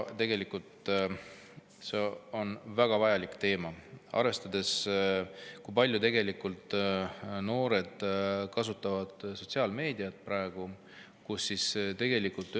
See on väga vajalik teema, arvestades, kui palju noored tegelikult sotsiaalmeediat kasutavad.